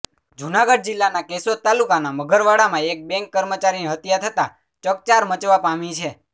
જૂનાગઢ જિલ્લાના કેશોદ તાલુકાના મઘરવાડામાં એક બેંક કર્મચારીની હત્યા થતાં ચકચાર મચવા પામી છે